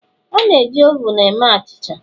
A na-eji ovun eme achịcha